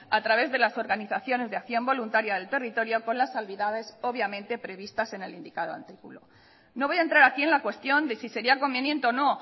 a través de las organizaciones de acción voluntaria del territorio con las salvedades obviamente previstas en el indicado artículo no voy a entrar aquí en la cuestión de si sería conveniente o no